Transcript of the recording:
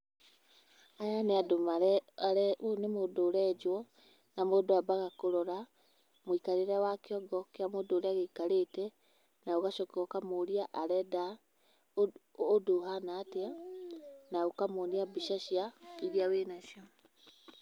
Aya nĩ andũ, ũyũ nĩ mũndũ ũrenjwo na mũndũ ambaga kũrora mũikarĩre wa kiongo kĩa mũndũ ũrĩa gĩikarĩte, na ũgacoka ũkamũria arenda ũndũ ũhana atĩa na ũkamuonia mbica cia, irĩa wĩ nacio.